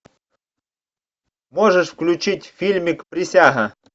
можешь включить фильмик присяга